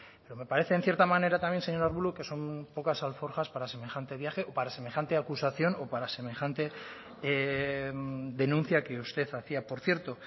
pero me parece en cierta manera también señor arbulo que son pocas alforjas para semejante viaje o para semejante acusación o para semejante denuncia que usted hacía por cierto